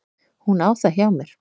Hún á það hjá mér.